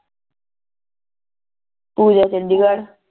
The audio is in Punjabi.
ਪੂਜਾ ਚੰਡੀਗਢ